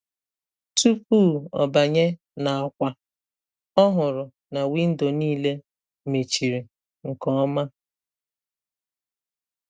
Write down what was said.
Tupu ọ banye n’akwa, ọ hụrụ na windo niile mechiri nke ọma.